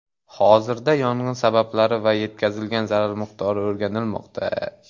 Hozirda yong‘in sabablari va yetkazilgan zarar miqdori o‘rganilmoqda.